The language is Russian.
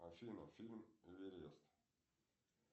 афина фильм эверест